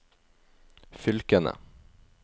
fylkene